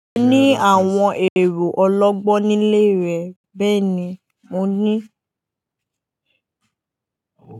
Ní àwọn èrò ọlọ́gbọ́n nílé rẹ̀, bẹ́ẹ̀ni, mo ní.